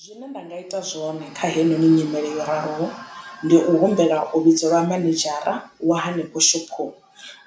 Zwine nda nga ita zwone kha heinoni nyimele yo raliho ndi u humbela u vhidzeliwa manedzhara wa hanefho shophoni